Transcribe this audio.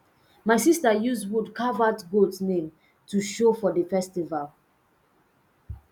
my sister use wood carve out goat name to show for the festival